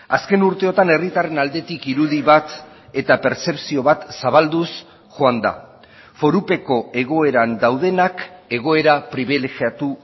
azken urteotan herritarren aldetik irudi bat eta pertzepzio bat zabalduz joan da forupeko egoeran daudenak egoera pribilegiatu